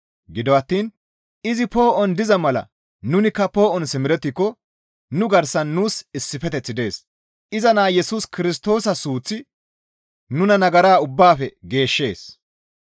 Gido attiin izi poo7on diza mala nunikka poo7on simerettiko nu garsan nuus issifeteththi dees; iza naa Yesus Kirstoosa suuththi nuna nagara ubbaafe geeshshees.